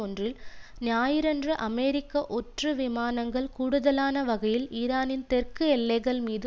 ஒன்றில் ஞாயிறன்று அமெரிக்க ஒற்று விமானங்கள் கூடுதலான வகையில் ஈரானின் தெற்கு எல்லைகள் மீது